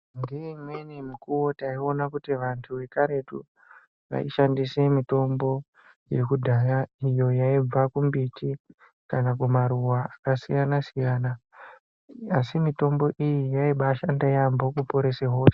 Ngeimweni mikuwo taiona kuti wandu wakaretu, waishandise mitombo yekudhaya iyo yaibva kumbiti kana kumaruwa akasiyana siyana asi mitombo iyi yaiba ashanda yeyambo kuporesa hosha.